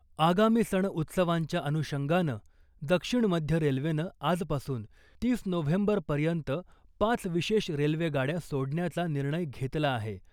आगामी सण उत्सवांच्या अनुषंगानं दक्षिण मध्य रेल्वेनं आजपासून तीस नोव्हेंबर पर्यंत पाच विशेष रेल्वे गाड्या सोडण्याचा निर्णय घेतला आहे .